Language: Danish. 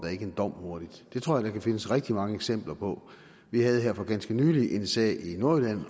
en dom hurtigt det tror jeg der kan findes rigtig mange eksempler på vi havde her for ganske nylig en sag i nordjylland